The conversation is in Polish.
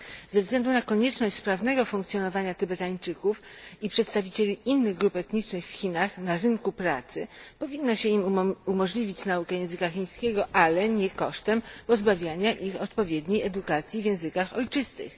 Ze względu na konieczność sprawnego funkcjonowania Tybetańczyków i przedstawicieli innych grup etnicznych w Chinach na rynku pracy powinno się im umożliwić naukę języka chińskiego, ale nie kosztem pozbawiania ich odpowiedniej edukacji w językach ojczystych.